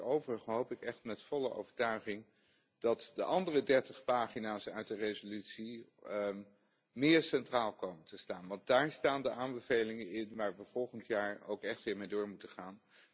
Voor het overige hoop ik echt met volle overtuiging dat de andere 30 pagina's uit de resolutie meer centraal komen te staan, want daarin staan de aanbevelingen waar we volgend jaar ook echt weer mee door moeten gaan.